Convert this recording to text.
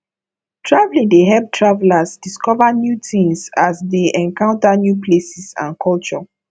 traveling dey help travelers discover new things as they encounter new places and cultures